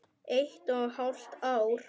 Eitt og hálft ár.